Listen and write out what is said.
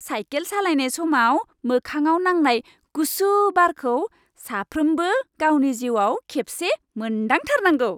Cycle सालायनाय समाव मोखांआव नांनाय गुसु बारखौ साफ्रोमबो गावनि जिउआव खेबसे मोन्दांथारनांगौ।